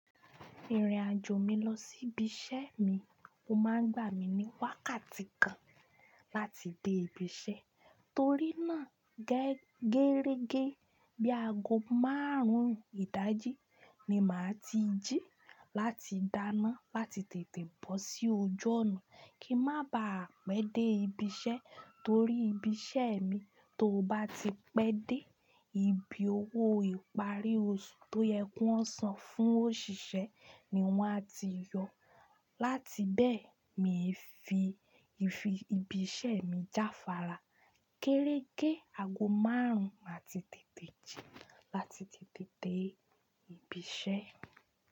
Ìrìn-àjò mi lọ sí ibi iṣẹ́ mi, ó máa ń gbà mí ní wákàtí kan láti dé ibi iṣẹ́ torí náà gérége bíi ago márùn-ún ìdájí ni màá ti jí láti dáná láti tètè bọ́ sí ojú ọ̀nà kí má ba á pẹ́ dé ibi iṣẹ́ torí ibi iṣẹ́ mi tó bá ti pẹ́ dé ibi owó ìparí oṣù tó yẹ kan san fún òṣìṣẹ́ ni wọ́n á ti yọ. Láti bẹ́ẹ̀ mi fi ibi iṣẹ́ mi jáfára. Kéréke ago márùn-ún màá ti tètè jí láti tètè dé ibi iṣẹ́.